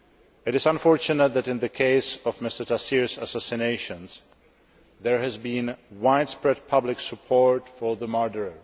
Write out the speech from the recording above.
It is unfortunate that in the case of Mr Taseer's assassination, there has been widespread public support for the murderer.